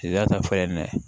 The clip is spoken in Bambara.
I y'a ta fura in na